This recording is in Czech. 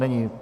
Není.